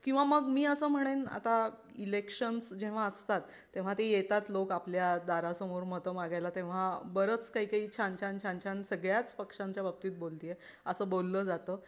किंवा मग मी असं म्हणेन आता इलेक्शन जेव्हा असतात तेव्हा ती येतात लोक आपल्या दारासमोर मत मागायला तेव्हा बरंच काही छान छान सगळ्या पक्षांच्या बाबतीत बोलतीये असं बोललं जातं.